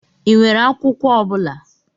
Ị nwere akwụkwọ ọ bụla?